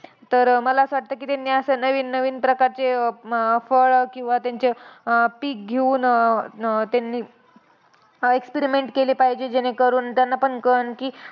तर मला असं वाटतं की, त्यांनी असं नवीन नवीन प्रकारचे अं फळं किंवा त्यांचे पिक घेऊन अं त्यांनी experiment केले पाहिजे, जेणेकरून त्यांना पण कळन की,